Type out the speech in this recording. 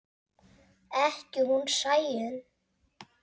Ekki hún Sæunn.